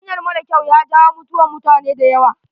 Hanyan mara kyau ya jawo mutuwan mutane da yawa.